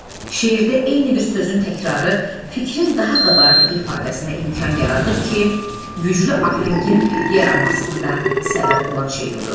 Şeirdə eyni bir sözün təkrarı fikrin daha qabarıq ifadəsinə imkan yaradır ki, güclü ahəngin yaranmasına da səbəb olan şey budur.